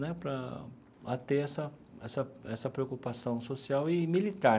Né para a ter essa essa essa preocupação social e militar.